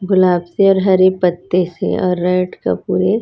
गुलाब से और हरि पत्ते से और रेड